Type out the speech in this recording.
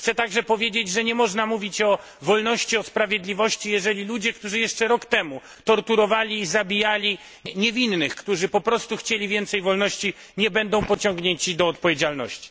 Chcę także powiedzieć, że nie można mówić o wolności, o sprawiedliwości, jeżeli ludzie, którzy jeszcze rok temu torturowali i zabijali niewinnych, którzy po prostu chcieli więcej wolności, nie będą pociągnięci do odpowiedzialności.